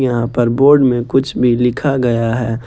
यहां पर बोर्ड में कुछ भी लिखा गया है।